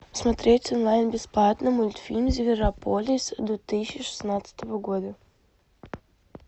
смотреть онлайн бесплатно мультфильм зверополис две тысячи шестнадцатого года